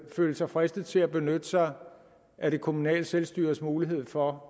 føle sig fristet til at benytte sig af det kommunale selvstyres mulighed for